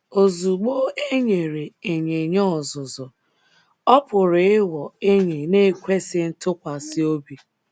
Ozugbo e nyere ịnyịnya ọzụzụ, ọ pụrụ ịghọ enyi na - ekwesị ntụkwasị obi.